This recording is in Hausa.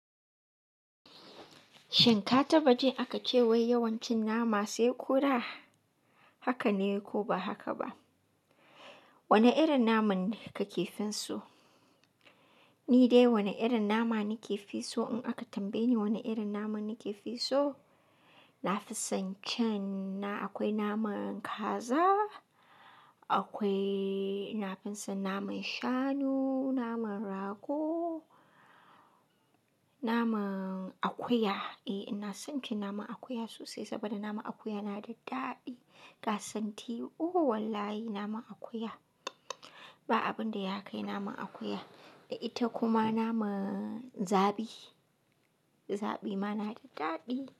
Shin ka taɓa jin aka ce wai yawanci nama sai ƙura haka ne ko ba haka ba? Wane irin naman ka ke fi so? Ni dai wane irin nama na ke fi so in aka tambaye ni wane irin naman na ke fi so, na fi son cin na akwai naman kaza, akwai na fi son naman shanu, naman rago, naman akuya. Eh ina son cin naman akuya sosai saboda naman akuya na da daɗi. Na santi oh wallahi naman akuya. Ba abin da ya kai naman akuya. Da ita kuma naman zabi. Zabi ma na da daɗi.